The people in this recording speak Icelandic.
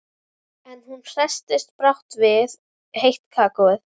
En hún hresstist brátt við heitt kakóið.